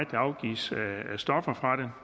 afgives af stoffer fra